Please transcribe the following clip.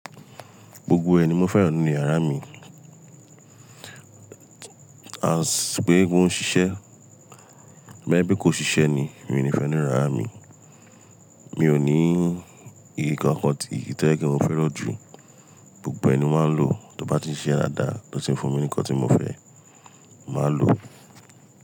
Gbogbo re ní mo fẹ́ràn nínu yàrá mi. As pé gbogbo won ṣiṣẹ́, toba je pe kò ṣiṣẹ́ ni, mi ò ní fẹ́ nínu yàrá mi. Mi ò ní ìkankan tí èyí tó jẹ́ kí mo fẹ́ràn jù. Gbogbo ẹ̀ní máa ń lò tó bá ti ń ṣe ẹ́ dáadáa, tó si ń fún mi ní nǹkan tí mo fẹ́, màá lò.